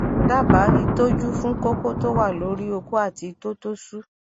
daba itoju fun koko to wa lori oko ati ito to su